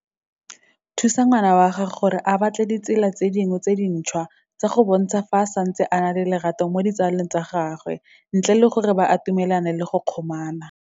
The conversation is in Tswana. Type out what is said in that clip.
Thusa ngwana wa gago gore a batle ditsela tse dingwetse dintšhwa tsa go bontsha fa a santse a na le lerato mo ditsaleng tsa gagwe, ntle le gore ba atumelane le go kgomana.